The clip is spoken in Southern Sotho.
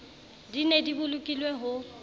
di ne di bolokilwe ho